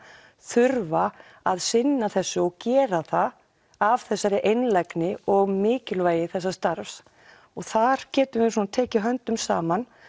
þurfa að sinna þessu og gera það af þessari einlægni og mikilvægi þessa starfs og þar getum við tekið höndum saman